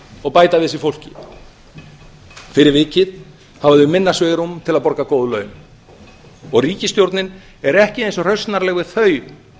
og bæta við sig fólki fyrir vikið hafa þau minna svigrúm til að borga góð laun og ríkisstjórnin er ekki eins rausnarleg við þau